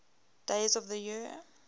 days of the year